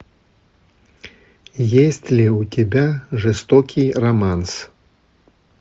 есть ли у тебя жестокий романс